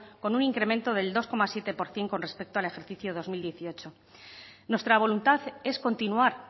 con un incremento del dos coma siete por ciento con respecto al ejercicio dos mil dieciocho nuestra voluntad es continuar